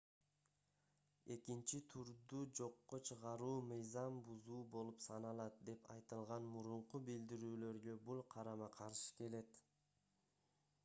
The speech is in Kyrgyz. экинчи турду жокко чыгаруу мыйзам бузуу болуп саналат деп айтылган мурунку билдирүүлөргө бул карама-каршы келет